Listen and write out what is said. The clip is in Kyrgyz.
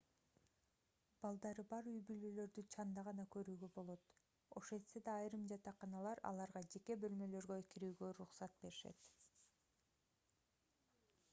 балдары бар үй-бүлөлөрдү чанда гана көрүүгө болот ошентсе да айрым жатаканалар аларга жеке бөлмөлөргө кирүүгө уруксат беришет